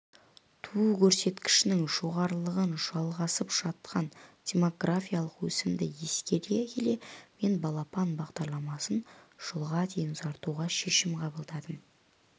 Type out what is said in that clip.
туу көрсеткішінің жоғарылығын жалғасып жатқан демографиялық өсімді ескере келе мен балапан бағдарламасын жылға дейін ұзартуға шешім қабылдадым